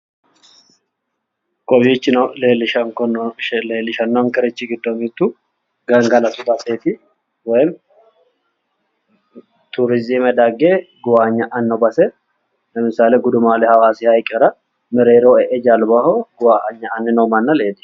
Kowiichino leellishannonkerichi giddo mittu gangalatu baseeti woyimmi turizime dagge guwaanya'anno base lemissale gudumaale hawaasiha ikkara mereeroho e'e jalbaho guwasnya'anni noo manna leellishanno